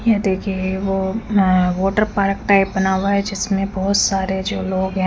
यह देखिये वो में वाटरपार्क टाइप बना हुआ है जिसमे बहोत सारे जो लोग है--